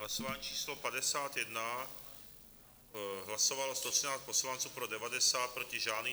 Hlasování číslo 51, hlasovalo 113 poslanců, pro 90, proti žádný.